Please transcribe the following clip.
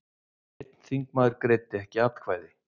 Einn þingmaður greiddi ekki atkvæði